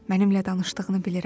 Mənimlə danışdığını bilirəm.